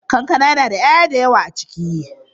Kankana yana da 'ya'ya da yawa a ciki.